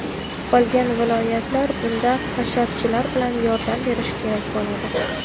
Qolgan viloyatlar bunda hasharchilar bilan yordam berishi kerak bo‘ladi.